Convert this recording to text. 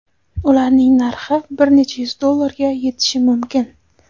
Ularning narxi bir necha yuz dollarga yetishi mumkin.